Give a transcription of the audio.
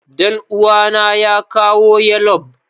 Danuwa na ya kawo yallob.